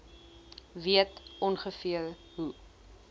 weet ongeveer hoe